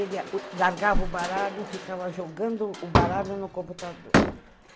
ele largava o baralho e ficava jogando o baralho no computador.